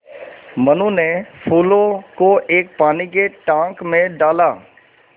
मनु ने फूलों को एक पानी के टांक मे डाला